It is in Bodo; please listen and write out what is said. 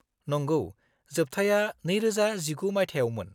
-नंगौ, जोबथाया 2019 मायथाइयावमोन।